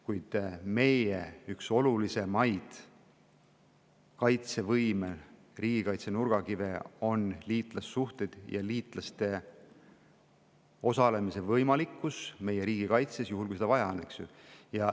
Kuid meie kaitsevõime, riigikaitse üks nurgakive on liitlassuhted ja liitlaste meie riigikaitses osalemise võimalikkus, juhul kui seda vaja on.